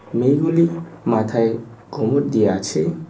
মেয়েগুলি মাথায় ঘোমট দিয়া আছে।